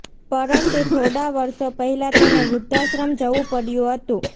પરંતુ થોડા વર્ષો પહેલા તેને વૃદ્ધાશ્રમ જવું પડ્યું હતું